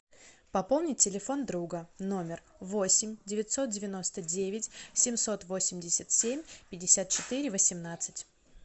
пополнить телефон друга номер восемь девятьсот девяносто девять семьсот восемьдесят семь пятьдесят четыре восемнадцать